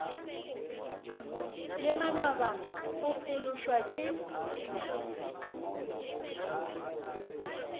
le manaba o phološwa ke